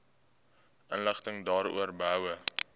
inligting daaroor behoue